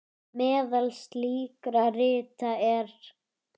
Meðal slíkra rita er